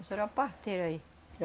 Isso era uma parteira aí.